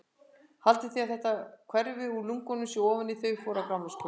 Haldið þið að þetta hverfi úr lungunum sem ofan í þau fór á gamlárskvöld?